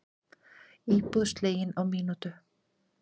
Hún er einn efnilegasti framherji landsins